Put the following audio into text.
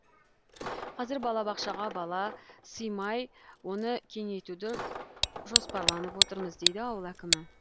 қазір балабақшаға бала сыймай оны кеңейтуді жоспарланып отырмыз дейді ауыл әкімі